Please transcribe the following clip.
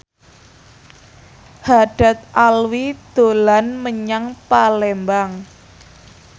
Haddad Alwi dolan menyang Palembang